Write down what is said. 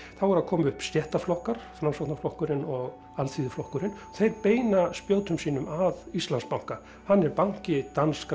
þá eru að koma upp Framsóknarflokkurinn og Alþýðuflokkurinn þeir beina spjótum sínum að Íslandsbanka hann er banki danskra